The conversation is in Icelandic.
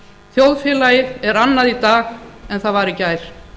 þjóðfélagið er annað í dag en það var í gær